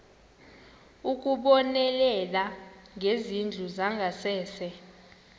ukubonelela ngezindlu zangasese